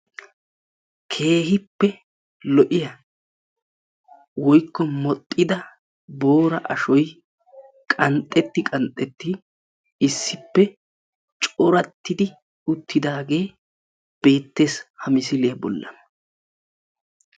Keehippe lo'iya woykko modhdhida boora ashoy qanxxetti qanxxetti issippe corattidi uttidaagee beettees ha misiliya bollan.